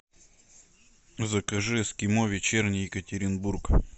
закажи эскимо вечерний екатеринбург